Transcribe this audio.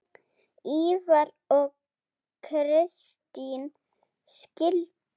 Ívar og Kristín skildu.